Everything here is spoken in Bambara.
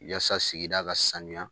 Yaasa sigida ka sanuya